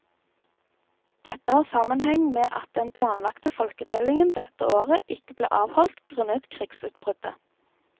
Dette har sammenheng med at den planlagte folketellingen dette året ikke ble avholdt grunnet krigsutbruddet.